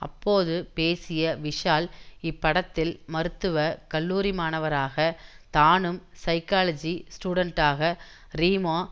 அப்போது பேசிய விஷால் இப்படத்தில் மருத்துவ கல்லூரி மாணவராக தானும் சைக்காலஜி ஸ்டூடண்டாக ரீமா